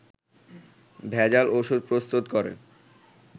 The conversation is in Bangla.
ভেজাল ওষুধ প্রস্তুত করে